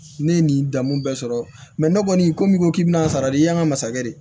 Ne ye nin dan mun bɛɛ sɔrɔ mɛ ne kɔni ko min k'i bi n'a sara de y'an ka masakɛ ye